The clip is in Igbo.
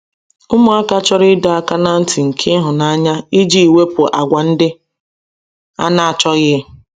ụmụaka chọrọ ịdo aka na nti nke ihunanya ijii wepụ àgwà ndi ana achoghi